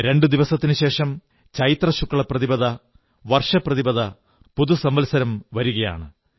രണ്ടു ദിവസത്തിനുശേഷം ചൈത്ര ശുക്ലപ്രതിപദ വർഷ പ്രതിപദ പുതുസംവത്സരം വരുകയാണ്